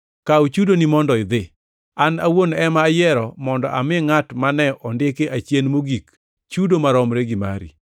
Kaw chudoni mondo idhi. An awuon ema ayiero mondo ami ngʼat mane ondiki achien mogik chudo maromre gi mari.